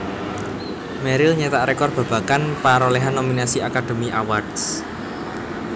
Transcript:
Meryl nyetak rekor babagan parolehan nominasi Academy Awards